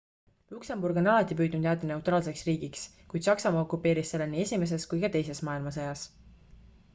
luksemburg on alati püüdnud jääda neutraalseks riigiks kuid saksamaa okupeeris selle nii esimeses kui ka teises maailmasõjas